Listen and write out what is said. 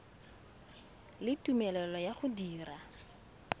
le tumelelo ya go dira